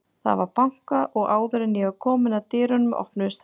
Það var bankað og áður en ég var komin að dyrunum, opnuðust þær og